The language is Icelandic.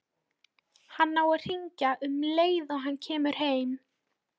Hann á að hringja um leið og hann kemur heim.